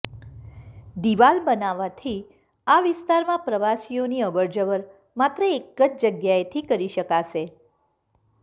દીવાલ બનાવવાથી આ વિસ્તારમાં પ્રવાસીઓની અવરજવર માત્ર એક જ જગ્યાએથી કરી શકાશે